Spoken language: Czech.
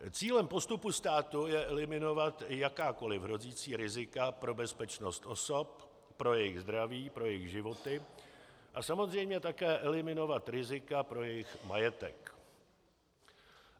Cílem postupu státu je eliminovat jakákoli hrozící rizika pro bezpečnost osob, pro jejich zdraví, pro jejich životy a samozřejmě také eliminovat rizika pro jejich majetek.